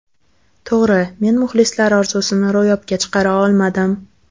To‘g‘ri, men muxlislar orzusini ro‘yobga chiqara olmadim.